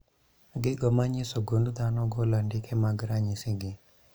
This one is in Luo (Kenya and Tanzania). Gigo manyiso gund dhano golo andike mag ranyisi gi